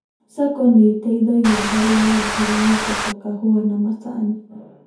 SACCO nĩteithagia hari wendia wa indo ta kahũa macani